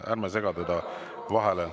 Ärme segame vahele.